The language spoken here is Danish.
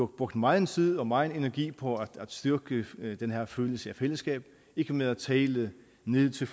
brugt megen tid og megen energi på at styrke den her følelse af fællesskab ikke med at tale ned til